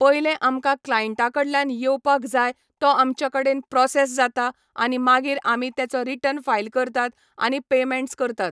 पयले आमकां क्लांयटा कडल्यान येवपाक जाय तो आमच्या कडेन प्रोसॅस जाता आनी मागीर आमी तेचो रिटर्न फायल करतात आनी पॅयमॅण्ट्स करतात